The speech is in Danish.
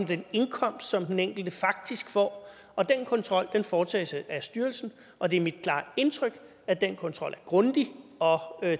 den indkomst som den enkelte faktisk får den kontrol foretages af styrelsen og det er mit klare indtryk at den kontrol grundig og